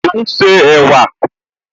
Ó ún ṣe ẹ̀wà